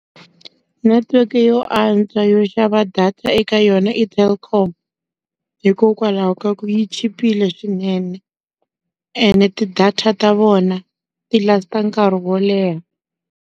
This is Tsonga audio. Netiweke yo antswa yo xava data eka yona i Telkom. Hikokwalaho ka ku yi chipile swinene, ene ti-data ta vona ti last nkarhi wo leha.